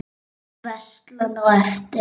Veislan á eftir?